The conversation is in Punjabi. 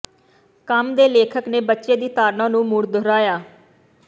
ਕੰਮ ਦੇ ਲੇਖਕ ਨੇ ਬੱਚੇ ਦੀ ਧਾਰਨਾ ਨੂੰ ਮੁੜ ਦੁਹਰਾਇਆ